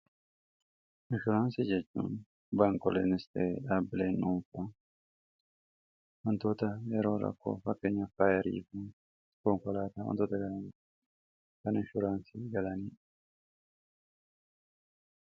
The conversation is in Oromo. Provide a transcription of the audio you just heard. inshuraansi jecuun baankolenst dhaableen unfa hantoota yeroo rakkoo fakkanyaf faayariifne iskonkolaataa wantoota ga kaninshuraansi galanii